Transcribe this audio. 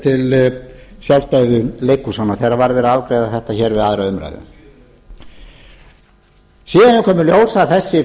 til sjálfstæðu leikhúsanna þegar verið var afgreiða þetta hér við aðra umræðu síðan hefur komið í ljós að þessi fjárveiting